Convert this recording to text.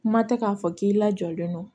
Kuma tɛ k'a fɔ k'i lajɔlen don